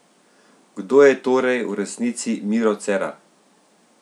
Kdo je torej v resnici Miro Cerar?